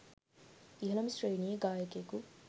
ඉහළම ශ්‍රේණියේ ගායකයෙකු